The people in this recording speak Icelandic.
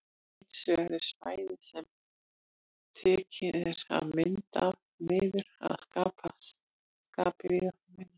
Hins vegar er svæðið sem tekin er mynd af því miður að sama skapi víðáttuminna.